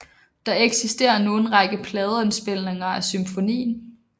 Der eksisterer nu en række pladeindspilninger af symfonien